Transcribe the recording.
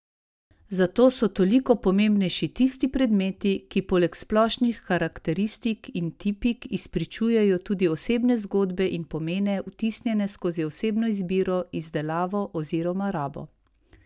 Zato so toliko pomembnejši tisti predmeti, ki poleg splošnih karakteristik in tipik izpričujejo tudi osebne zgodbe in pomene, vtisnjene skozi osebno izbiro, izdelavo oziroma rabo.